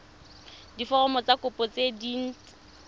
diforomo tsa kopo tse dint